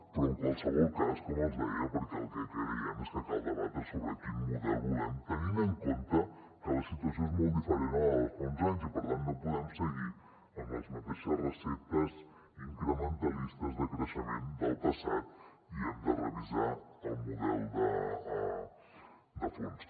però en qualsevol cas com els deia perquè el que creiem és que cal debatre sobre quin model volem tenint en compte que la situació és molt diferent a la de fa uns anys i per tant no podem seguir amb les mateixes receptes incrementalistes de creixement del passat i hem de revisar el model de fons